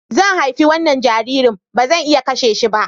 Zan haifi wannan jaririn, ba zan iya kashe shi ba.